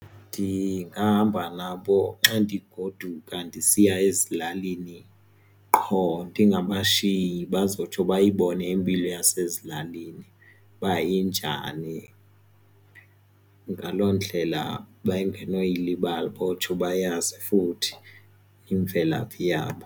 Ndingahamba nabo xa ndigoduka ndisiya ezilalini qho ndingabashiyi bazotsho bayibone impilo yasezilalini uba injani, ngaloo ndlela bangenowuyilibala bazotsho bayazi futhi imvelaphi yabo.